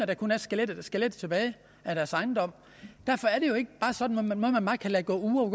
der kun er skelettet skelettet tilbage derfor er det jo ikke sådan at man bare kan lade gå uger og